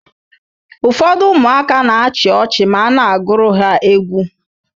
Ụfọdụ ụmụaka na-achị ọchị ma a na-agụrụ ha egwu.